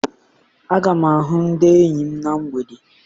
Aga m ahụ ndị enyi m na mgbede.